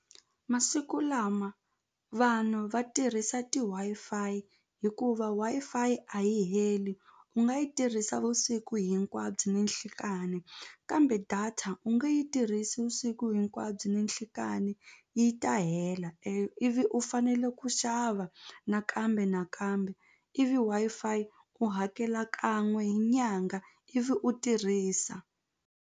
Masiku lama vanhu va tirhisa ti-WiFi hikuva Wi-fi a yi heli u nga yi tirhisa vusiku hinkwabyo ni nhlekani kambe data u nge yi tirhisi vusiku hinkwabyo ni nhlikani yi ta hela ivi u fanele ku xava nakambe nakambe ivi Wi-Fi u hakela kan'we hi nyanga ivi u tirhisa.